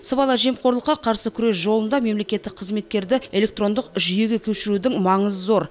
сыбайлас жемқорлыққа қарсы күрес жолында мемлекеттік қызметтерді электрондық жүйеге көшірудің маңызы зор